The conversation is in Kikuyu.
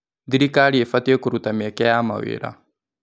Thirikari ĩbatiĩ kũruta mĩeke ya mawĩra.